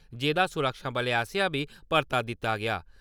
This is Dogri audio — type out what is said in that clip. जेह्दा सुरक्षाबलें आसेआ बी परता दित्ता गेआ।